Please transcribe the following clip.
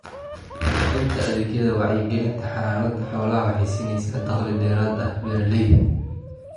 Bixinta adeegyada wacyigelinta xanaanada xoolaha waxay siinaysaa dakhli dheeraad ah beeralayda.